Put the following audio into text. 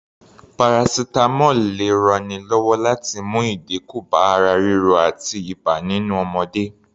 Paracetamol lè ranni lọ́wọ́ láti mú ìdínkù bá ara ríro àti ibà nínú ọmọdé